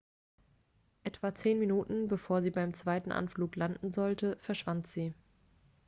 etwa zehn minuten bevor sie beim zweiten anflug landen sollte verschwand sie